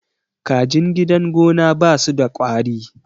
kajin gidan gona ba su da kwari